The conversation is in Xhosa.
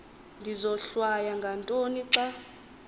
ndizohlwaya ngantoni xa